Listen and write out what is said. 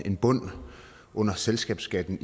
en bund under selskabsskatten